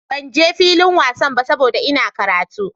Ban je filin wasan ba saboda Ina karatu.